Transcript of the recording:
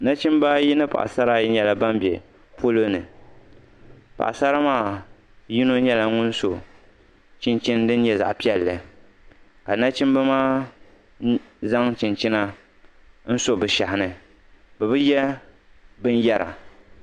nachɛmiba ayi ni paɣigisaraayi nyɛla ban bɛ polo ni paɣosara maa yiŋa nyɛla ŋɔ su chɛnichɛni dini nyɛ zaɣ piɛli ka nachɛmiba maa nyɛ ban zaŋ lo be shɛhini bɛ be yɛ bɛniyɛri